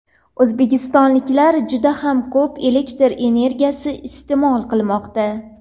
O‘zbekistonliklar juda ham ko‘p elektr energiyasi iste’mol qilmoqda.